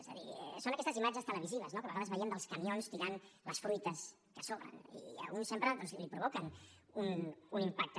és a dir són aquestes imatges televisives no que a vegades veiem dels camions tirant les fruites que sobren i a un sempre doncs li provoquen un impacte